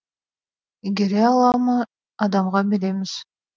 игере ала ма адамға береміз